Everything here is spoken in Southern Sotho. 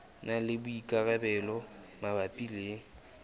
na le boikarabelo mabapi le